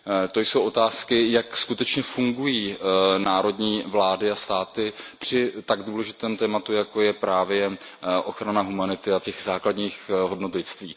To jsou otázky, jak skutečně fungují národní vlády a státy při tak důležitém tématu, jako je právě ochrana humanity a těch základních hodnot lidství.